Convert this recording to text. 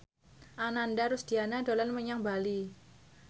Ananda Rusdiana dolan menyang Bali